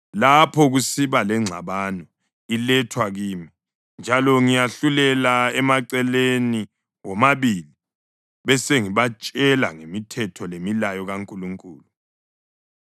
Lapho kusiba lengxabano, ilethwa kimi, njalo ngiyahlulela emaceleni womabili besengibatshela ngemithetho lemilayo kaNkulunkulu.”